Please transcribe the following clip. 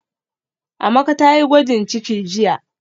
Amaka tayi gwajin ciki jiya